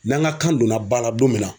N'an ka kan donna ba la don min na